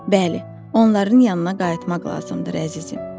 Bəli, onların yanına qayıtmaq lazımdır, əzizim.